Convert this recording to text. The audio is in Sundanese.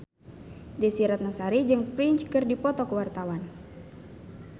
Desy Ratnasari jeung Prince keur dipoto ku wartawan